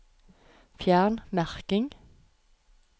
Fjern merking